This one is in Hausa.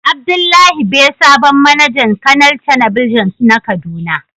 Abdullahi be sabon managan canel telebijin na kaduna.